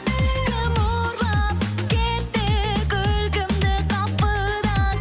кім ұрлап кетті күлкімді қапыда